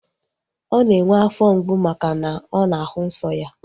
Ọ na-enwe afọ mgbu maka na ọ na-ahụ nsọ ya